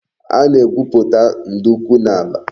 A na-egwuputa nduku n'ala